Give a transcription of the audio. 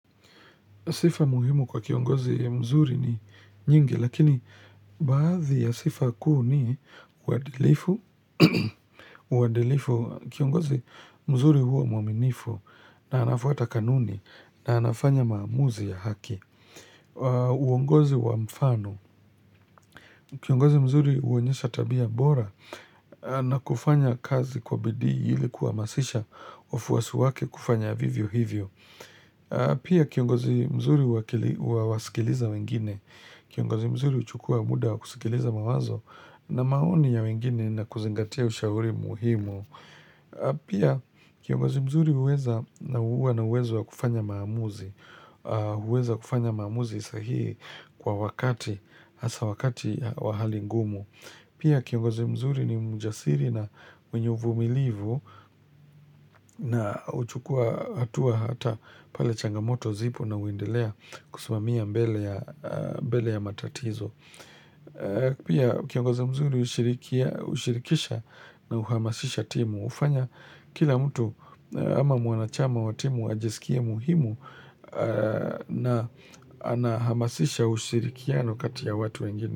Sifa muhimu kwa kiongozi mzuri ni nyingi, lakini baadhi ya sifa kuu ni uadilifu. Uadilifu, kiongozi mzuri huwa mwaminifu na anafuata kanuni na anafanya maamuzi ya haki. Uongozi wa mfano, kiongozi mzuri huonyesha tabia bora na kufanya kazi kwa bidii ili kuha masisha wafuwasi wake kufanya vivyo hivyo. Pia kiongozi mzuri huwasikiliza wengine Kiongozi mzuri huchukua muda wakusikiliza mawazo na maoni ya wengine na kuzingatia ushauri muhimu Pia kiongozi mzuri huweza na huwana uwezowa kufanya maamuzi huweza kufanya maamuzi sahihi kwa wakati hasa wakati wa hali ngumu Pia kiongozi mzuri ni mjasiri na mwenye uvumilivu na huchukua hatua hata pale changamoto zipo na huendelea kusimamia mbele ya matatizo. Pia kiongozi mzuri hushirikisha na huhamasisha timu. Hufanya kila mtu ama mwanachama wa timu ajisikie muhimu na anahamasisha ushirikianokati ya watu wengine.